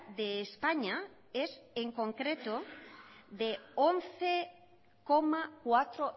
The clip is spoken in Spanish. de españa es en concreto de once coma cuatro